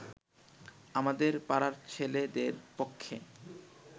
আমাদের পাড়ার ছেলেদের পক্ষে